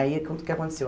Aí, que o que aconteceu?